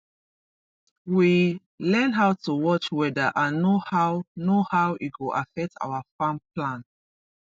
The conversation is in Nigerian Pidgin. we learn how to watch weather and know how know how e go affect our farm plan